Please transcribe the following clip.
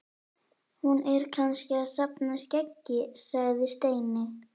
Hún er kannski að safna skeggi sagði Steini.